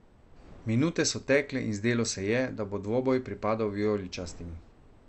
Minute so tekle in zdelo se je, da bo dvoboj pripadel vijoličastim.